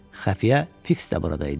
Xəfiyə Fiks də burada idi.